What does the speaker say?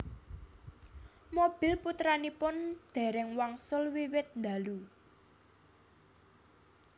Mobil putranipun déréng wangsul wiwit ndalu